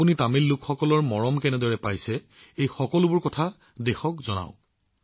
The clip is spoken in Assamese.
আপুনি তামিল লোকসকলৰ মৰমৰ বৰ্ষা লাভ কৰিছে এই সকলোবোৰ কথা দেশবাসীক জনাওক